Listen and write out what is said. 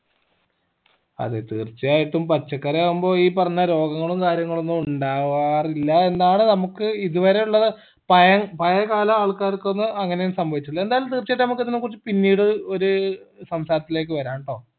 അതെ തീർച്ചയായിട്ടും പച്ചക്കറി ആകുമ്പോ ഈ പറഞ്ഞ രോഗങ്ങളും കാര്യങ്ങളൊന്നും ഉണ്ടാവാറില്ല എന്നാണ് നമ്മക്ക് ഇതുവരെ ഉള്ള പയ പഴയ കാല ആൾക്കാർക്കൊന്നും അങ്ങനെ ഒന്നും സംഭവിച്ചിട്ടില്ല എന്തായാലും തീർച്ചയായിട്ട് നമ്മക്ക് ഇതിനെക്കുറിച്ചു പിന്നീട് ഒരു സംസാരത്തിലേക്ക് വരാം ട്ടോ